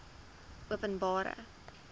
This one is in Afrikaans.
openbare